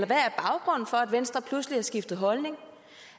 venstre pludselig har skiftet holdning